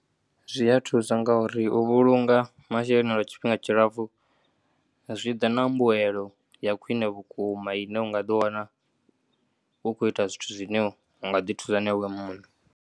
Zwi ya thusa ngauri u vhulunga masheleni lwa tshifhinga tshilapfu zwiḓa na mbuelo ya khwine vhukuma ine u nga ḓiwana u tshi khou ita zwithu zwine unga ḓithula na iwe mune.